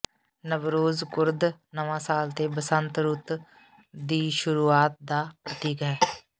Nowruz Kurd ਨਵਾਸਾਲ ਅਤੇ ਬਸੰਤ ਰੂਤ ਦੀ ਸ਼ੁਰੂਆਤ ਦਾ ਪ੍ਰਤੀਕ ਹੈ